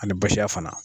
Ani basiya fana